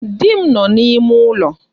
Di m nọ n'ime ụlọ.